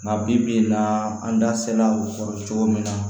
Nka bi bi in na an da se la o kɔrɔ cogo min na